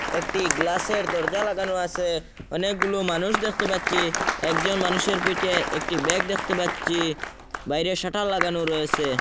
একটি গ্লাসের দরজা লাগানো আসে অনেকগুলো মানুষ দেখতে পাচ্ছি একজন মানুষের পিঠে একটি ব্যাগ দেখতে পাচ্ছি বাইরে শাটার লাগানো রয়েসে।